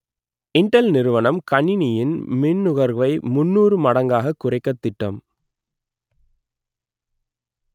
Intel நிறுவனம் கணினியின் மின்னுகர்வை முன்னூறு மடங்காகக் குறைக்கத் திட்டம்